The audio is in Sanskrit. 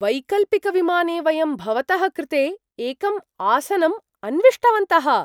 वैकल्पिकविमाने वयं भवतः कृते एकं आसनम् अन्विष्टवन्तः।